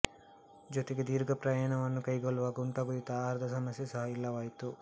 ಜೊತೆಗೆ ದೀರ್ಘಪ್ರಯಾಣವನ್ನು ಕೈಗೊಳ್ಳುವಾಗ ಉಂಟಾಗುತ್ತಿದ್ದ ಆಹಾರದ ಸಮಸ್ಯೆ ಸಹ ಇಲ್ಲವಾಯಿತು